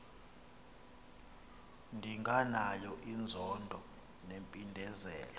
ndinganayo inzondo nempindezelo